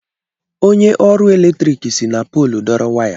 Onye ọrụ eletrik si na poolu dọrọ waya.